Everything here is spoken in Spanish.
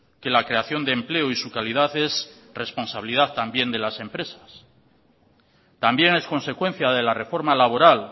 que la creación de empleo y su calidad es responsabilidad también de las empresas también es consecuencia de la reforma laboral